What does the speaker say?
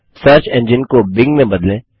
search engine को Bing में बदलें